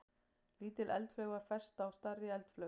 Lítil eldflaug var fest á stærri eldflaug.